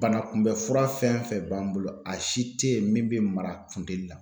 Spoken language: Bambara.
Bana kunbɛn fura fɛn fɛn b'an bolo a si te yen min bɛ mara funtɛni la